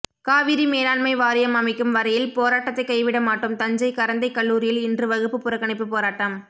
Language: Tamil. காவிரி மேலாண்மை வாரியம் அமைக்கும் வரையில் போராட்டத்தை கைவிட மாட்டோம் தஞ்சை கரந்தை கல்லூரியில் இன்று வகுப்பு புறக்கணிப்பு போராட்டம்